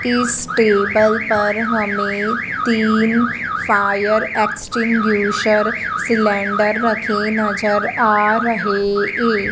इस टेबल पर हमें तीन फायर एक्सटिंग्विशर सिलेंडर रखे नजर आ रहे ये--